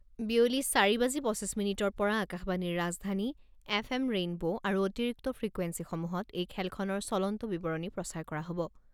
বিয়লি চাৰি বাজি পঁচিছ মিনিটৰ পৰা আকাশবাণীৰ ৰাজধানী, এফ এম ৰে'নব ' আৰু অতিৰিক্ত ফ্ৰিকুৱেঞ্চিসমূহত এই খেলখনৰ চলন্ত বিৱৰণী প্ৰচাৰ কৰা হ'ব।